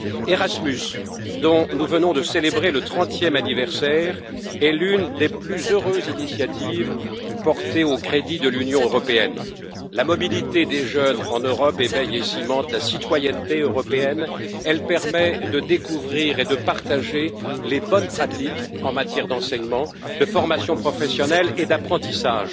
Erasmus, dont nous venons de célébrer le 30e anniversaire, est l'une des plus heureuses initiatives portées au crédit de l'Union européenne. La mobilité des jeunes en Europe éveille et cimente la citoyenneté européenne, elle permet de découvrir et de partager les bonnes pratiques en matière d'enseignement, de formation professionnelle et d'apprentissage.